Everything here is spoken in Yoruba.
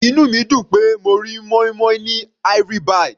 Inú mi dùn pé mo rí moin-moin ní Ivory -bite.